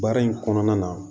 Baara in kɔnɔna na